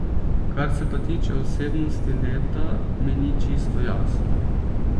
Kar se pa tiče osebnosti leta, mi ni čisto jasno.